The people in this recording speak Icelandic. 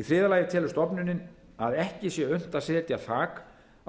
í þriðja lagi telur stofnunin að ekki sé unnt að setja þak